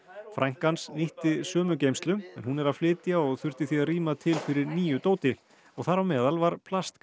frænka hans nýtti sömu geymslu hún er að flytja og þurfti því að rýma til fyrir nýju dóti þar á meðal var